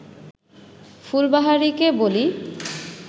ফুলবাহারিকে বলি